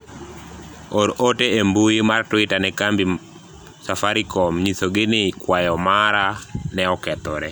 or ote e mbui mar twita ne kambi safarikom nyisogi ni kwayo mara ne okethore